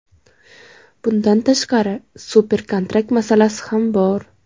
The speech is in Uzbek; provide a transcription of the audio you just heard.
Bundan tashqari, super-kontrakt masalasi ham bor.